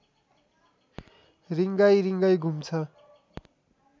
रिँगाइ रिँगाइ घुम्छ